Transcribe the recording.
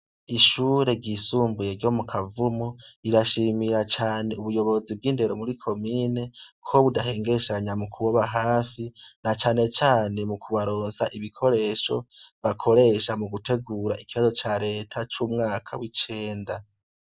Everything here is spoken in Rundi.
Ishure ryisumbuye ryo mu kavumu rirashimira cane ubuyobozi bw'indero muri komine ko budahengeshanya mu kubaba hafi na canecane mu kubarosa ibikoresho bakoresha mu gutegura ikibazo ca leta c'umwaka w'icenda.